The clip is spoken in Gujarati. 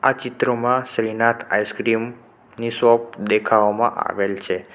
આ ચિત્રમાં શ્રીનાથ ની દેખાવામાં આવેલ છે.